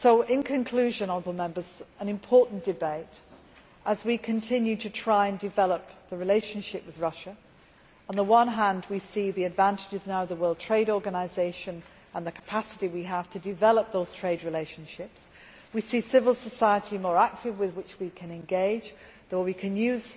In conclusion, this has been an important debate as we continue to try to develop the relationship with Russia. On the one hand, we see the advantages now within the World Trade Organization and the capacity we have to develop those trade relationships we see a more active civil society with which we can engage we can